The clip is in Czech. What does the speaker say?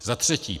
Za třetí.